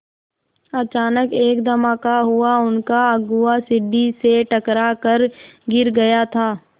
अचानक एक धमाका हुआ उनका अगुआ सीढ़ी से टकरा कर गिर गया था